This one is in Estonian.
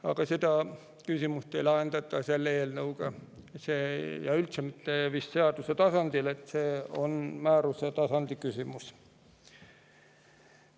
Aga seda küsimust ei lahendata eelnõuga ja üldse mitte seaduse tasandil, see on määruse tasandi küsimus.